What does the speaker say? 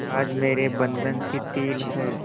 आज मेरे बंधन शिथिल हैं